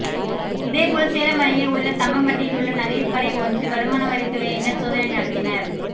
இதே போல் சேலம் அருகே உள்ள தம்மம்பட்டியில் உள்ள நகை கடைஒன்றில் வருமானவரித்துறையினர் சோதனை நடத்தினர்